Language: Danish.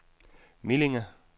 Millinge